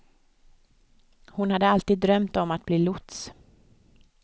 Han hade alltid drömt om att bli lots.